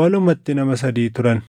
walumatti nama sadii turan.